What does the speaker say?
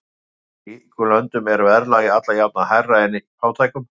Í ríkum löndum er verðlag alla jafna hærra en í fátækum.